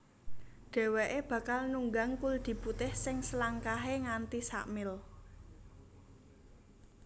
Dhèwèké bakal nunggang kuldi putih sing selangkahé nganti sa mil